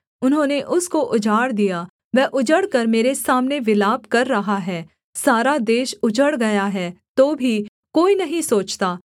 उन्होंने उसको उजाड़ दिया वह उजड़कर मेरे सामने विलाप कर रहा है सारा देश उजड़ गया है तो भी कोई नहीं सोचता